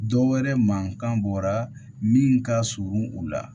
Dɔ wɛrɛ mankan bɔra min ka surun u la